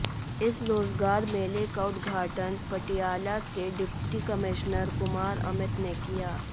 इस रोज़गार मेले का उद्घाटन पटियाला के डिप्टी कमिश्नर कुमार अमित ने किया